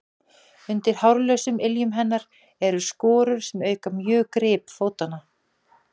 Undir hárlausum iljum hennar eru skorur sem auka mjög grip fótanna.